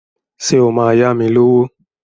Ṣé o máa yá mi lówó?